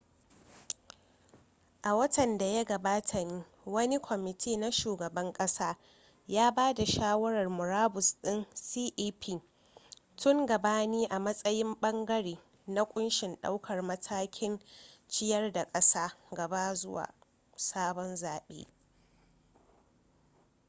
a watan da ya gabata ne wani kwamiti na shugaban kasa ya ba da shawarar murabus din cep tun gabani a matsayin bangare na kunshin daukar matakan ciyar da kasar gaba zuwa sabon zabe